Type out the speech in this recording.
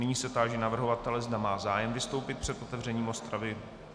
Nyní se táži navrhovatele, zda má zájem vystoupit před otevřením rozpravy?